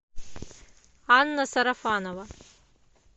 анна сарафанова